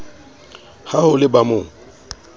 ha ho le ba mo